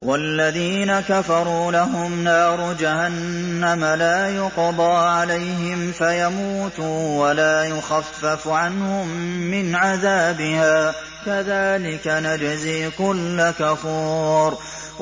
وَالَّذِينَ كَفَرُوا لَهُمْ نَارُ جَهَنَّمَ لَا يُقْضَىٰ عَلَيْهِمْ فَيَمُوتُوا وَلَا يُخَفَّفُ عَنْهُم مِّنْ عَذَابِهَا ۚ كَذَٰلِكَ نَجْزِي كُلَّ كَفُورٍ